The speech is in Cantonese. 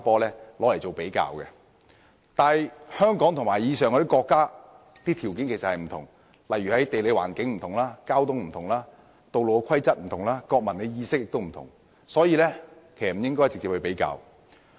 然而，香港與這些國家的條件有別，在地理環境、交通情況、道路規則、國民意識等均有所不同，因而不應作直接比較。